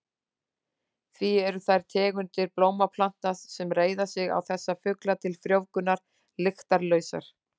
Því eru þær tegundir blómplantna sem reiða sig á þessa fugla til frjóvgunar lyktarlausar.